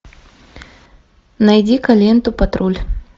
найди ка ленту патруль